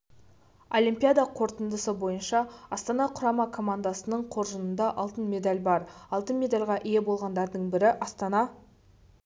олимпиада қорытындысы бойынша астана құрама командасының қоржынында алтын медаль бар алтын медальға ие болғандардың бірі астана